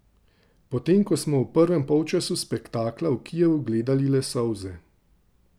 Potem ko smo v prvem polčasu spektakla v Kijevu gledali le solze.